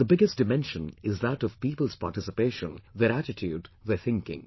And the biggest dimension is that of people's participation, their attitude, their thinking